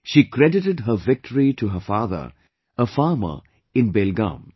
She credited her victory to her father, a farmer in Belgaum